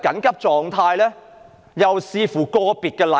有說要視乎個別情況。